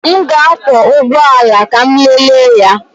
M ga-akwọ ụgbọ ala ka m lelee ya.